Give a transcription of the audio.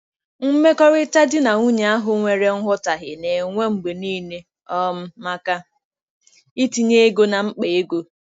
Mmekọrịta di na nwunye ahụ nwere nghọtahie na-enwe mgbe niile um maka itinye ego na mkpa ego.